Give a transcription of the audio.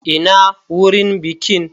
Ina wurin bikin?